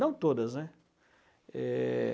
Não todas, né? É...